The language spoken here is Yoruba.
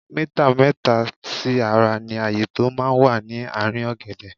Mítà mẹ́ta sí ara ní ààyé tó máa ń wà ní ààrín ọ̀gẹ̀dẹ̀.